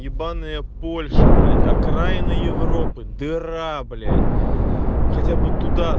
ебанное польша блять окраина европы дыра блять хотя бы вот туда